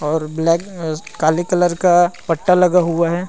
और ब्लैक अ काले कलर का पट्टा लगा हुआ है।